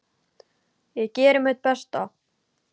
Ég geri mitt besta.